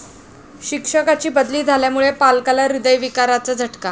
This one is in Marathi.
शिक्षकाची बदली झाल्यामुळे पालकाला हृदयविकाराचा झटका